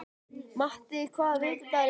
Matti, hvaða vikudagur er í dag?